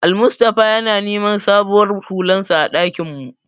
Almustapha yana neman sabuwar hularsa a ɗakin mu.